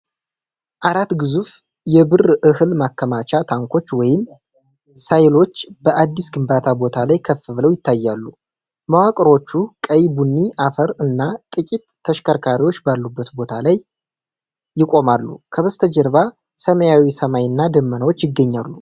አራት ግዙፍ የብር እህል ማከማቻ ታንኮች ወይም ሳይሎዎች በአዲስ ግንባታ ቦታ ላይ ከፍ ብለው ይታያሉ። መዋቅሮቹ ቀይ ቡኒ አፈር እና ጥቂት ተሽከርካሪዎች ባሉበት ቦታ ላይ ይቆማሉ። ከበስተጀርባ ሰማያዊ ሰማይ እና ደመናዎች ይገኛሉ።